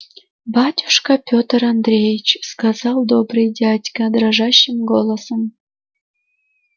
батюшка пётр андреич сказал добрый дядька дрожащим голосом